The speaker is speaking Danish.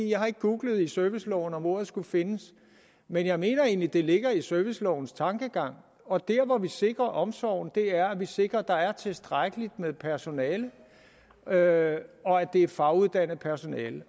jeg har ikke googlet i serviceloven om ordet skulle findes men jeg mener egentlig det ligger i servicelovens tankegang og der hvor vi sikrer omsorgen er at vi sikrer at der er tilstrækkeligt med personale og at det er faguddannet personale